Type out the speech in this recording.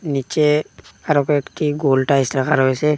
নীচে আরো কয়েকটি গোল টাইস রাখা রয়েসে ।